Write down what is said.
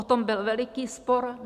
O tom byl veliký spor.